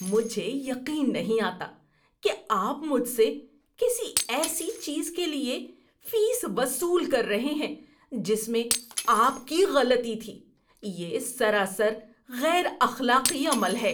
مجھے یقین نہیں آتا کہ آپ مجھ سے کسی ایسی چیز کے لیے فیس وصول کر رہے ہیں جس میں آپ کی غلطی تھی۔ یہ سراسر غیر اخلاقی عمل ہے۔